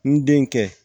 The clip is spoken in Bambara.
N den kɛ